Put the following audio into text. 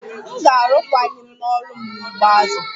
M ga-arụkwaghịm n'ọrụ m n'ugbo azụ